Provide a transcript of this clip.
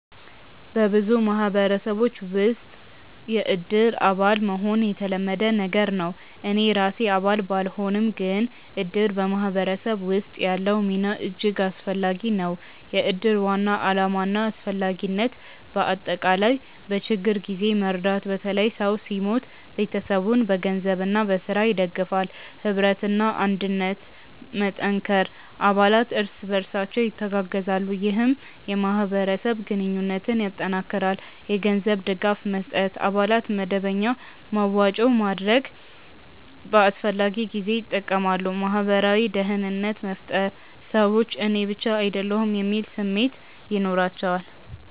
በብዙ ማህበረሰቦች ውስጥ “የእድር አባል” መሆን የተለመደ ነገር ነው። እኔ ራሴ አባል ባልሆንም፣ ግን እድር በማህበረሰብ ውስጥ ያለው ሚና እጅግ አስፈላጊ ነው። የእድር ዋና ዓላማና አስፈላጊነት በአጠቃላይ፦ በችግኝ ጊዜ መርዳት – በተለይ ሰው ሲሞት ቤተሰቡን በገንዘብና በሥራ ይደግፋል። ኅብረትና አንድነት መጠንከር – አባላት እርስ በርሳቸው ይተጋገዛሉ፣ ይህም የማህበረሰብ ግንኙነትን ያጠናክራል። የገንዘብ ድጋፍ መስጠት – አባላት በመደበኛ መዋጮ በማድረግ በአስፈላጊ ጊዜ ይጠቀማሉ። ማህበራዊ ደህንነት መፍጠር – ሰዎች “እኔ ብቻ አይደለሁም” የሚል ስሜት ይኖራቸዋል